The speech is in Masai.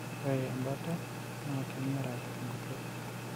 ore ebata naa keengera enkutuk.